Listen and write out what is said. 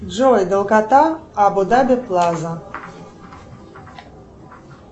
джой долгота абу даби плаза